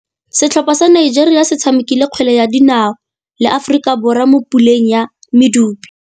Setlhopha sa Nigeria se tshamekile kgwele ya dinaô le Aforika Borwa mo puleng ya medupe.